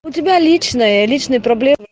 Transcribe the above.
у тебя личная личные проблемы